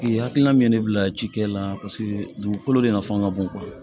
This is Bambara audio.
K'i hakilina min ye ne bila ci kɛ la paseke dugukolo de nafa ka bon